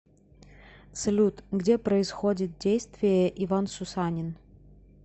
салют где происходит действие иван сусанин